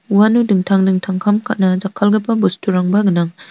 uano dingtang dingtang kam ka·na jakkalgipa bosturangba gnang.